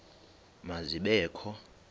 ma zibe kho